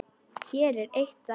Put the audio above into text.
Hér er eitt dæmi.